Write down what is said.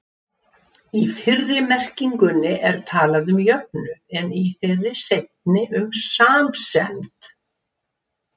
Í fyrri merkingunni er talað um jöfnuð, en í þeirri seinni um samsemd.